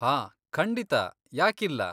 ಹಾ, ಖಂಡಿತ, ಯಾಕಿಲ್ಲ?